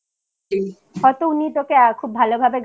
হয়তো উনি তোকে খুব ভালভাবে guide করে দিতে